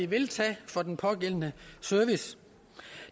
vil tage for den pågældende service